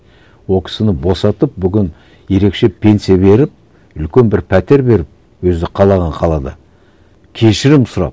ол кісіні босатып бүгін ерекше пенсия беріп үлкен бір пәтер беріп өзі қалаған қалада кешірім сұрап